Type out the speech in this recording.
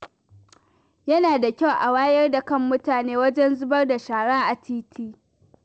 Yana da kyau a wayar da kan mutane wajen zubar da shara a titi.